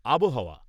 আবহাওয়া